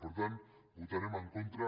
per tant hi votarem en contra